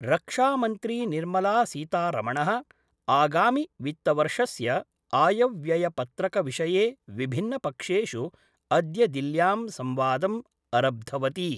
रक्षामंत्रीनिर्मलासीतारमण: आगामि वित्तवर्षस्य आयव्ययपत्रकविषये विभिन्नपक्षेषु अद्य दिल्ल्यां संवादं अरब्धवती।